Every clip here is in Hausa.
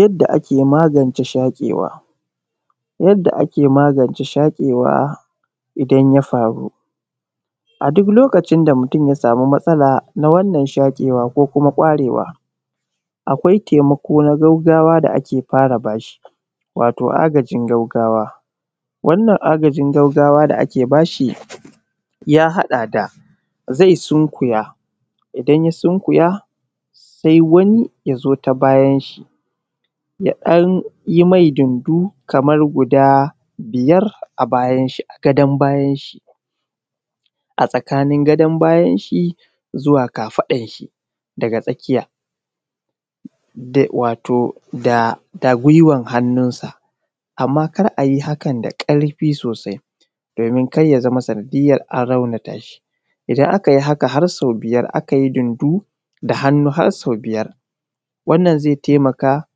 Yadda ake magance shaƙewa, yadda ake magance shaƙewa idan ya faru a dʊk lokacin da mutum ya samu matsala na wannan shaƙewa ko kuma ƙwarewa akwai taimako na gaggawa da ake fara bashi wato agajin gaggawa wannan agajin gaggawa da ake bashi ya haɗa da ze sunkuya idan ya sunkuya sai wani yazo ta bayanshi ya ɗan yi me dundu kamar guda biyar a bayan shi a gadon bayan shi a tsakan gadon bayan shi za ka faɗanshi da wato da gwiwan hannun sa amma kana iya hakan da ƙarfi sosai domina kar yazama sanadiyan an raunata shi idan aka yi hakan har so biyar aka yi dundu da hannu har so biyar wannan ze taimaka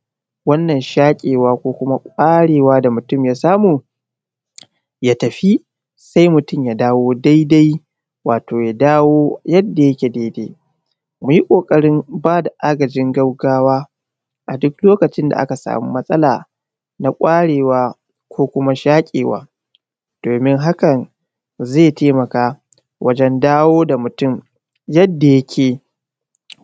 wannan shaƙewa ko kuma ƙwarewa da mutum ya samu ya tafi se mutum ya dawo dai-dai wato ya dawo yadda yake dai-dai ku yi ƙokarin bada agajin gaggawa a dʊk lokacin da aka samu matsala na gwarewa ko kuma na shaƙewa domina hakan ze taimaka wajen dawo da mutum yadda yake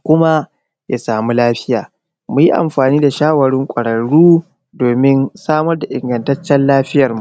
kuma ya samu lafiya mu yi amfani da shawarwarin kwararru domina samar da ingataccen lafiya.